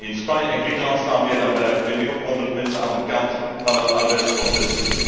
In Spanje en Griekenland staan meer dan 25 op 100 mensen aan de kant van dat arbeidsproces.